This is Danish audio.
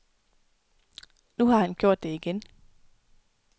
Nu har han gjort det igen.